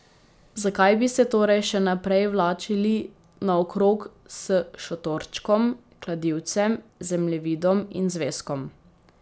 Zakaj bi se torej še naprej vlačili naokrog s šotorčkom, kladivcem, zemljevidom in zvezkom?